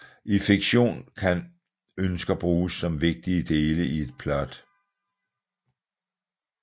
I fiktion kan ønsker bruges som vigtige dele i et plot